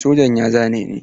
Sojan ya zane ni.